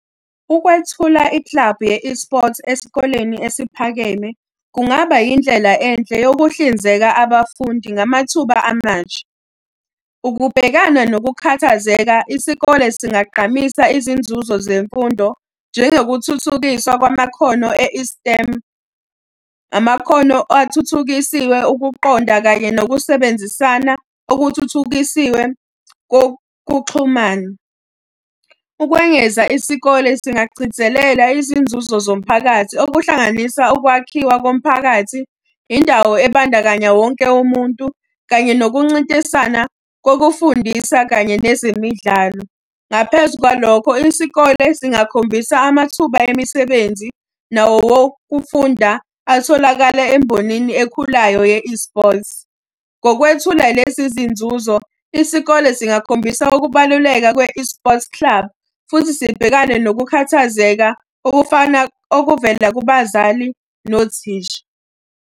Ukwethula ikilabhu ye-eSport esikoleni esiphakeme kungaba indlela enhle yokuhlinzeka abafundi ngamathuba amasha. Ukubhekana nokukhathazeka isikole singagqamisa izinzuzo zemfundo, njengokuthuthukiswa kwamakhono e-eSTEM. Amakhono athuthukisiwe ukuqonda kanye nokusebenzisana okuthuthukisiwe kokuxhumana. Ukwengeza isikole singagcizelela izinzuzo zomphakathi okuhlanganisa ukwakhiwa komphakathi, indawo ebandakanya wonke umuntu, kanye nokuncintisana kokufundisa, kanye nezemidlalo. Ngaphezu kwalokho, isikole singakhombisi amathuba emisebenzi nawokufunda atholakala embonini ekhulayo ye-eSport. Ngokwethula lezi zinzuzo, isikole singakhombisa ukubaluleka kwe-eSport club, futhi sibhekane nokukhathazeka okufana okuvela kubazali nothisha.